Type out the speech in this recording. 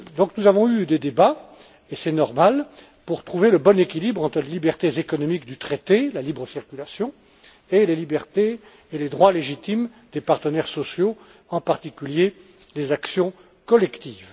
Nous avons donc eu des débats, et c'est normal, pour trouver le bon équilibre entre les libertés économiques du traité, la libre circulation et les libertés et droits légitimes des partenaires sociaux, en particulier en matière d'actions collectives.